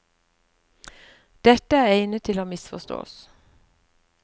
Dette er egnet til å misforstås.